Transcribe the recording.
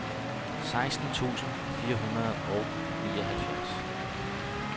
seksten tusind fire hundrede og nioghalvfjerds